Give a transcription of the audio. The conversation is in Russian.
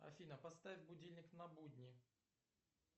афина поставь будильник на будни